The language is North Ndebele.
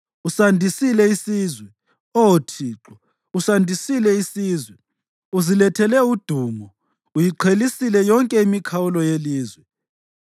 Usandisile isizwe, Oh Thixo; usandisile isizwe. Uzilethele udumo; uyiqhelisile yonke imikhawulo yelizwe.